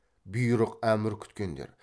бұйрық әмір күткендер